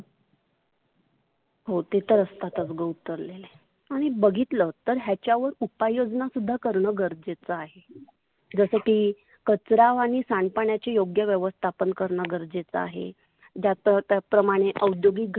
हो ते तर असतात ग उतरलेले. आणि बघितलं ह्याच्यावर उपाययोजना सुद्धा करण गरजेच आहे. जसं की कचरा आणि सांडपाण्याची योग्य व्यवस्थापण करण गरजेचं आहे. ज्या त्या प्रमाने औद्योगिक